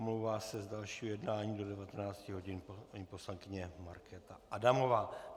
Omlouvá se z dalšího jednání do 19 hodin paní poslankyně Markéta Adamová.